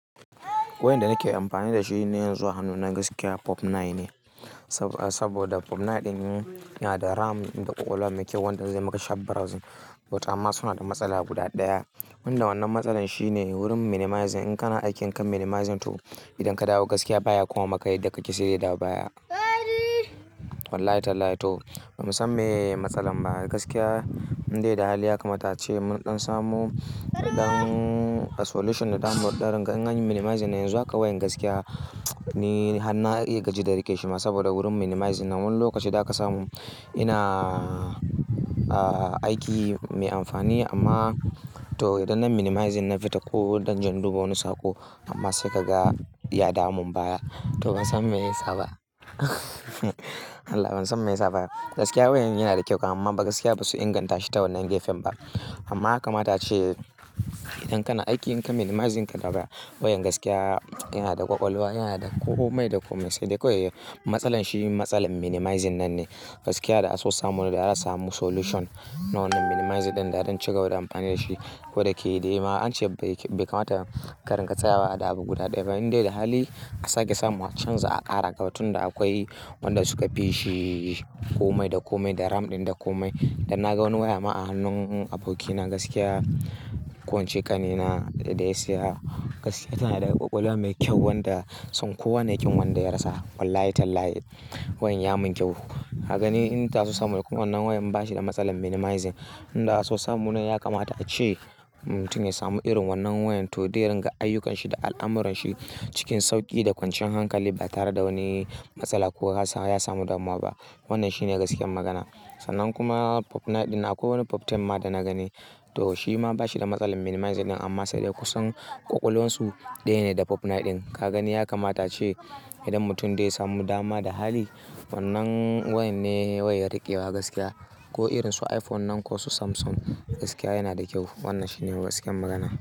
Wayan da nake amfani da shi ne yanzu a hannuna, gaskiya Pop Nine ne. Saboda Pop Nine ɗin yana da ram da ƙwaƙwalwa mai kyau wanda zai maka sharp browsing. But amma suna da matsala guda ɗaya, wanda wannan matsalar shine wurin minimizing. In kana aikin kan minimizing to idan ka dawo gaskiya baya koma maka yadda kake sai dai ya dawo baya. Wallahi tallahi to ban san me matsalar ba gaskiya. Indai da hali yakamata ace mun ɗan samu ɗan solution da zamu ɗan dinga In anyi minimizing yanzu haka wayan gaskiya ni han na iya gaji da rikici ma. Saboda wurin minimizing na wani lokaci da aka samu yana aiki mai amfani amma to idan nai minimizing na fita ko idan zan duba wani saƙo amma sai kaga ya damu baya. To ban san me yasa ba Allah ban san me yasa ba. Gaskiya wayan yana da kyau amma fa gaskiya basu inganta shi ta wannan gefen ba. Amma yakamata a ce idan kana aiki in kai minimizing ka dawo baya, wayan gaskiya yana da ƙwaƙwalwa, yana da kome da kome sai dai kawai matsalar shi matsalar minimizing nan ne. Gaskiya da a so samu ne da za a samu solution na wannan minimizing ɗin da zan cigaba da amfani da shi. Ko da yake dai ma ance bai kamata ka ringa tsayawa da abu guda ɗaya. Amma in dai da hali a sake samu chanza a ƙara kawai tun da akwai wanda suka fishi komai da komai da ram ɗin da komai. Dan na ga wani waya ma a hannun abokina gaskiya ko in cai ƙanina da ya saya gaskiya tana da ƙwaƙwalwa mai kyau wanda son kowane ƙin wanda ya rasa. Wallahi tallahi wayan ya mun kyau. Ka gani inda so samune kuma wannan wayan bashi da matsalar minimizing. Inda an so samu nan yakamata ce mutum ya samu irin wannan wayan to zai ringa ayyukanshi da al'amuranshi cikin sauƙi da kwanciyar hankali ba tare da wani matsala ko ya samu damuwa ba. Wannan shine gaskiyar magana. Sannan kuma Pop Nine ɗin nan akwai wani Pop Ten ma da na gani to shi ma bashi da matsalar minimizing amma sai dai kusan ƙwaƙwalwarsu ɗaya ne da Pop Nine ɗin. Ka gani yakamata ce idan mutum zai samu dama da hali wannan wayan ne wayar riƙewa gaskiya ko irin su iPhone nan ko su Samsung gaskiya yana da kyau. Wannan shi ne gaskiyar magana.